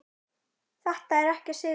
Þetta er ekki að sigra.